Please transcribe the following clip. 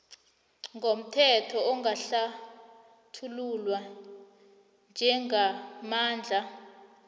ngomthetho angahlathululwa njengamandla